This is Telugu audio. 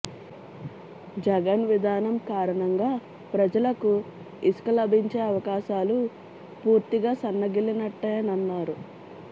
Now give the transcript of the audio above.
జగన్ విధానం కారణంగా ప్రజలకు ఇసుక లభించే అవకాశాలు పూర్తిగా సన్నగిల్లినట్టేనన్నారు